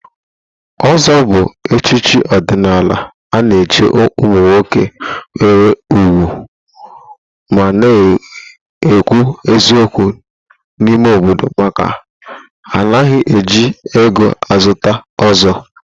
Ọ̀zọ́ bụ echichi ọdịnala a na-echi ụmụ nwoke nwere ùgwù ma na-ekwu eziokwu n'ime obodo maka na anaghị eji ego a zụta ọ̀zọ́.